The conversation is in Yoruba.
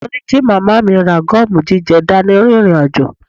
Wọ́n ní kí màmá mi ra gọ́ọ̀mù jíjẹ dání rìnrìn àjò